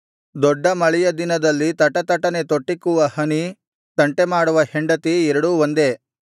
ದೊಡ್ಡ ಮಳೆಯ ದಿನದಲ್ಲಿ ತಟತಟನೆ ತೊಟ್ಟಿಕ್ಕುವ ಹನಿ ತಂಟೆಮಾಡುವ ಹೆಂಡತಿ ಎರಡೂ ಒಂದೇ